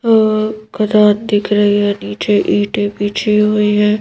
और कनात दिख रही है नीचे ईटे बिछी हुई है।